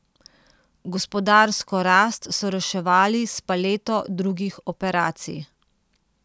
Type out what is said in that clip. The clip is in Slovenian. Gospodarsko rast so reševali s paleto drugih operacij.